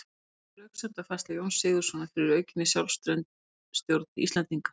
Hver var röksemdafærsla Jóns Sigurðssonar fyrir aukinni sjálfstjórn Íslendinga?